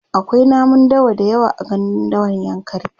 akwai namun dawa da yawa a gandun dawan yankari